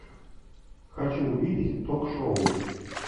хочу увидеть ток шоу